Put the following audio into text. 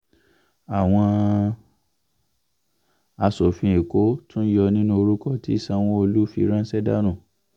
àwọn aṣòfin èkó tún yọ nínú orúkọ tí sanwó-olu fi ránṣẹ́ dànù